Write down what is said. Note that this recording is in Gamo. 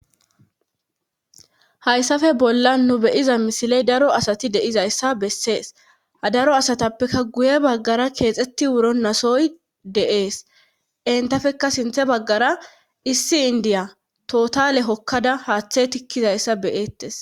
Hayssafe bolla nu beyiza misiley daro asati deizayssa bessees ha daro asatappeka guye baggara keexetti wuro nasoy deees entafekka sinthe baggara issi indiya totale hokkada haaththe tikkizayssa beyeettes